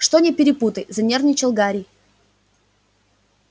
что не перепутай занервничал гарри